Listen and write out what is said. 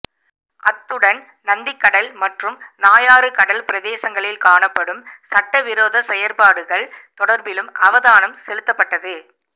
அத்துடன் நந்திக்கடல் மற்றும் நாயாறு கடல் பிரதேசங்களல் காணப்படும் சட்டவிரோத செயற்பாடுகள் தொடர்பிலும் அவதானம் செலுத்தப்பட்டது